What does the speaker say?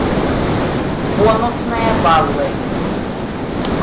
бонусные баллы